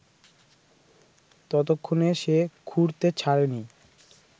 ততক্ষণে সে খুঁড়তে ছাড়েনি